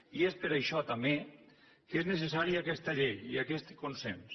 i és per això també que és necessària aquesta llei i aquest consens